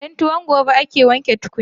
Don tuwon gobe ake wanke tukunya.